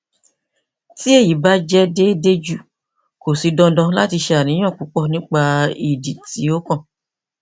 ti eyi ba jẹ deede ju ko si dandan lati ṣàníyàn pupọ nipa idi ti okan